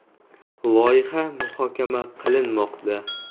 Loyiha muhokama qilinmoqda.